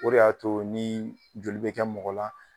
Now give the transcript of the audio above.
o de y'a to ni joli bɛ kɛ mɔgɔ la